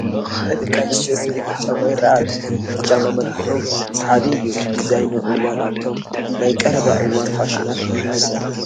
ናይ ደቂ ኣነስትዮ ስኒከር ጫማ ይርአ ኣሎ፡፡ እዚ ጫማ መልክዑ ሳሓቢ እዩ፡፡ ብዲዛይኑ እዋን ኣብቶም ናይ ቀረባ እዋን ፋሽናት እዩ ዝምደብ፡፡